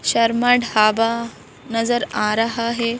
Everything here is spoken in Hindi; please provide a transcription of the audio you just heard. शर्मा ढाबा नजर आ रहा है।